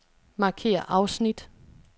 Markér afsnit.